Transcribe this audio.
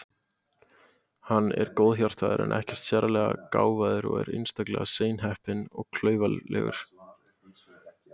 Hann er góðhjartaður en ekkert sérlega gáfaður og er einstaklega seinheppinn og klaufalegur.